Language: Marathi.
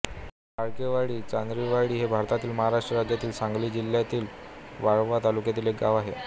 फाळकेवाडी चांदाचीवाडी हे भारतातील महाराष्ट्र राज्यातील सांगली जिल्ह्यातील वाळवा तालुक्यातील एक गाव आहे